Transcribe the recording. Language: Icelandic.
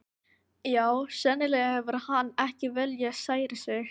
Já, sennilega hefur hann ekki viljað særa þig.